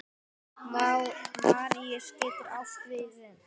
Maríus getur átt við um